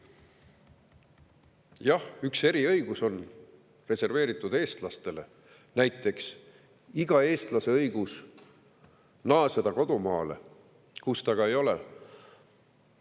Jah, üks eriõigus on reserveeritud eestlastele, näiteks on igal eestlasel õigus naasta kodumaale, kus ta ka ei ole.